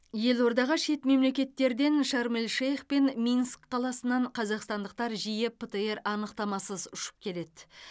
елордаға шет мемлекеттерден шарм эль шейх пен минск қаласынан қазақстандықтар жиі птр анықтамасыз ұшып келеді